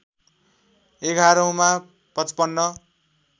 एघारौँमा ५५